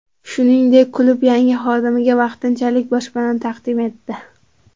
Shuningdek, klub yangi xodimiga vaqtinchalik boshpana taqdim etdi.